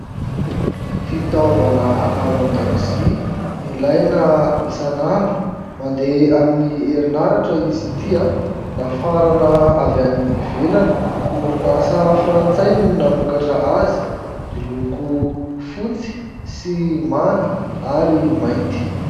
Fitaovana ao an-dakozia ilaina isan'andro, mandeha amin'ny herinaratra izy ity. Nafarana avy any ivelany, orinasa Frantsay no namokatra azy. Miloko fotsy sy manga ary mainty.